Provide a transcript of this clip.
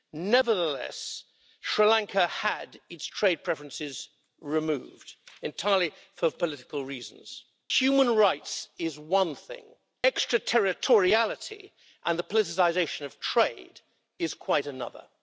Nevertheless, Sri Lanka had its trade preferences removed, entirely for political reasons. Human rights is one thing, extraterritoriality and the politicisation of trade is quite another.